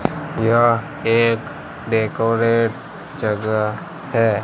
यह एक डेकोरेट जगह है।